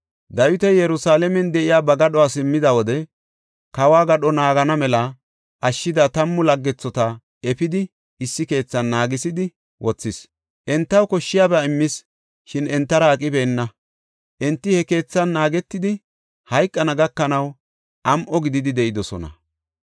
Dawiti Yerusalaamen de7iya ba gadho simmida wode, kawo gadho naagana mela ashshida tammu laggethota efidi issi keethan naagisidi wothis. Entaw koshshiyaba immis, shin entara aqibeenna. Enti he keethan naagetidi, hayqana gakanaw am7o gididi de7idosona.